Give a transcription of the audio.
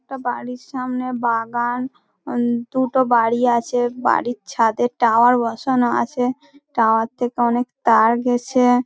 একটা বাড়ির সামনে বাগান দুটো বাড়ি আছে ।বাড়ির ছাদে টাওয়ার বসানো আছে। টাওয়ার থেকে অনেক তার গেছে |